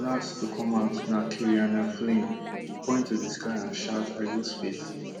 last to come out na kerianne flynn she point to di sky and shout i go space